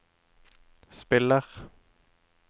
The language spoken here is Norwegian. spiller